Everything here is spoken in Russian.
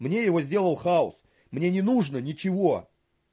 мне его сделал хаус мне не нужно ничего